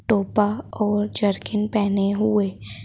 टोपा और जर्किन पहने हुए--